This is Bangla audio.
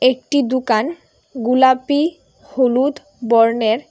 একটি দুকান গুলাপি হলুদ বর্ণের।